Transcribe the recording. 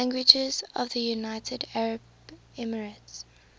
languages of the united arab emirates